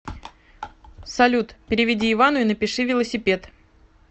салют переведи ивану и напиши велосипед